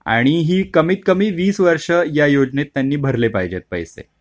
आणि हे कमीत कमी वीस वर्ष या योजनेत त्यांनी भरले पाहिजेत पैसे.